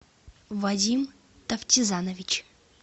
вадим тафтизанович